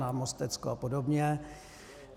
Na Mostecko a podobně.